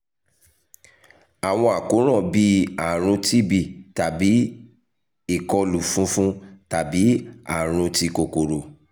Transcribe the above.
awọn àkóràn bii arun tb tabi ikolu funfun tabi arun ti kokoro